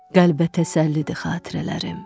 Qəlbə təsəllidir xatirələrim.